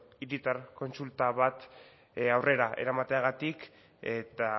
hiritar kontsulta bat aurrera eramateagatik eta